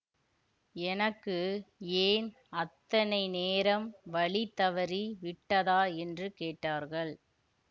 எனக்கு ஏன் அத்தனை நேரம் வழி தவறி விட்டதா என்று கேட்டார்கள்